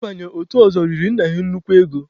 Ị banye otu ọzọ riri nna ha nnukwu ego.